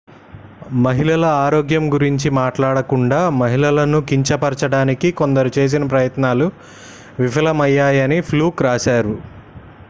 మహిళల ఆరోగ్యం గురించి మాట్లాడకుండా మహిళలను కించపరచడానికి కొందరు చేసిన ప్రయత్నాలు విఫలమయ్యాయని fluke రాశారు